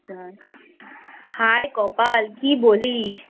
হায় কপাল কী বলিস?